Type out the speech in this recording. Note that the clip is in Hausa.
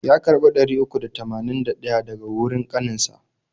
Ya karbi ɗari uku da tamanin da ɗaya daga wurin kanin sa.